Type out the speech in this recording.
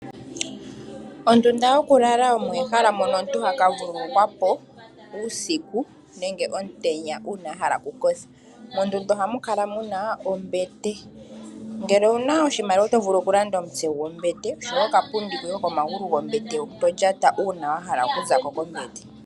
Ondunda yokulala omo ehala mono toka vululukwa po uusiku nenge omutenya uuna ahala okukotha. Mondunda muna ombete ngele owuna oshimaliwa oto vulu okulanda omutse gwombete noka pundi koye kopomagulu gombete to lyata uuna wahala okuzako kombete.